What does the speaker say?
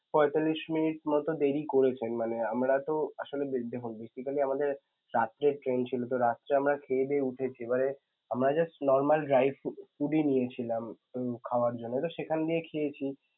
পয়তাল্লিশ minutes মত দেরি করেছেন মানে আমরা তো আসলে basically আমাদের রাত্রের train ছিল তো রাত্রে আমরা খেয়েদেয়ে উঠেছি মানে আমরা just normal dry food~ ই নিয়েছিলাম উম খাওয়ার জন্য তো সেখান দিয়ে খেয়েছি